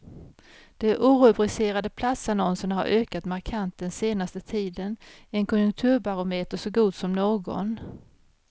De orubricerade platsannonserna har ökat markant den senaste tiden, en konjunkturbarometer så god som någon.